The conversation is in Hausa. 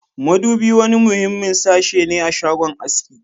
Madubi wani muhimmin sashi ne a shagon aski